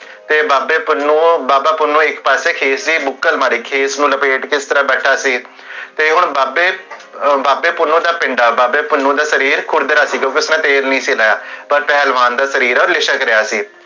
ਤੇ ਬਾਬਾ ਪੁੰਨੁ ਇਕ ਪਾਸੇ ਖੇਤ ਸੀ ਬੁੱਕਰ ਵਾਂਗ ਖੇਸ ਨੂ ਲਪੇਟ ਕੇ ਇਸ ਤਰਹ ਬੈਠਾ ਸੀ ਤੇ ਹੁਣ ਬਾਬੇ, ਬਾਬੇ ਪੁੰਨੁ ਦਾ ਪਿੰਡ ਆ ਬਾਬੇ ਪੁੰਨੁ ਦਾ ਸ਼ਰੀਰ ਖੁਰਦਰਾ ਸੀ ਕਿਓਂਕਿ ਉਸ ਵਿਚ ਤੇਲ ਨੀ ਸੀ ਨਵਾ ਪਰ ਪਹਲਵਾਨ ਦਾ ਸ਼ਰੀਰ ਆ, ਓਹ ਲਿਸ਼ਕ ਰਿਹਾ ਸੀ